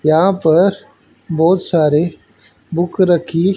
यहां पर बहुत सारे बुक रखी--